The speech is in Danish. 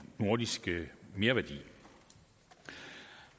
nordiske merværdi